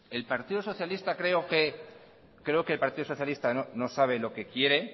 el partido socialista creo que creo que el partido socialista no sabe lo que quiere